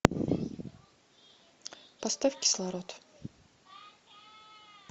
поставь кислород